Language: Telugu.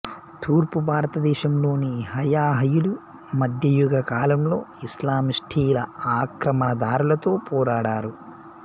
తూర్పు భారతదేశంలోని హయహయులు మధ్యయుగ కాలంలో ఇస్లామిస్టుల ఆక్రమణదారులతో పోరాడారు